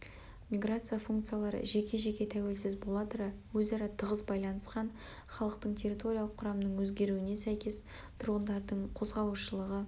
миграция функциялары жеке-жеке тәуелсіз бола тұра өзара тығыз байланысқан халықтың территориялық құрамының өзгеруіне сәйкес тұрғындардың қозғалушылығы